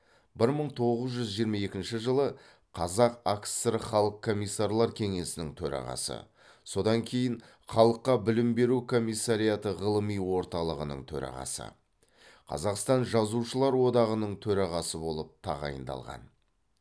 бір мың тоғыз жүз жиырма екінші жылы қазақ акср халық комиссарлар кеңесінің төрағасы содан кейін халыққа білім беру комиссариаты ғылыми орталығының төрағасы қазақстан жазушылар одағының төрағасы болып тағайындалған